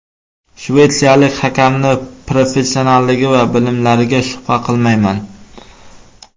Shvetsiyalik hakamning professionalligi va bilimlariga shubha qilmayman.